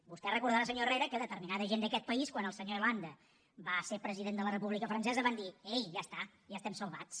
vostè deu recordar senyor herrera que determinada gent d’aquest país quan el senyor hollande va ser president de la república francesa van dir ei ja està ja estem salvats